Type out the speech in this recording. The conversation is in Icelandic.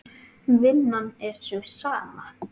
Vinnan er sú sama.